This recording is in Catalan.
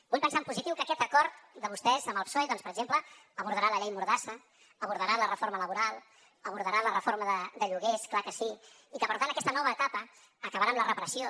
vull pensar en positiu que aquest acord de vostès amb el psoe doncs per exemple abordarà la llei mordassa abordarà la reforma laboral abordarà la reforma de lloguers clar que sí i que per tant aquesta nova etapa acabarà amb la repressió